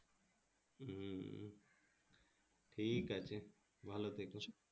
ঠিকআছে ভালো থেকো।